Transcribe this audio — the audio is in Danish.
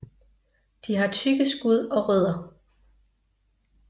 De har tykke skud og rødder